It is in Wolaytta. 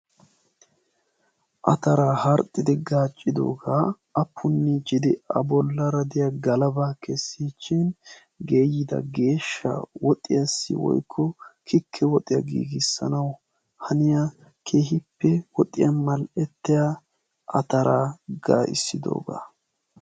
Ataraa harxxidi gaaccidoogaa appunni cide a bollaara diya galabaa kessiichchin geeyida geeshsha woxiyaassi woykko kikke woxiyaa giigissanau haniyaa kehippe woxiyaa mal"ettiya ataraa gaa'issidoogaa.